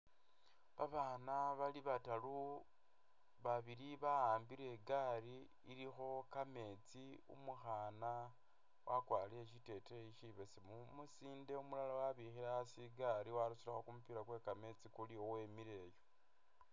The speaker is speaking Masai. Babana bali bataru, babili ba'ambile igali, ilikho kametsi, umukhana wakwarile shiteteyi shibesemu, umusinde umulala wabikhile asi igali warusilekho kumupila kwe'kametsi kuliwemile